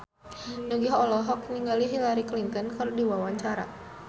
Nugie olohok ningali Hillary Clinton keur diwawancara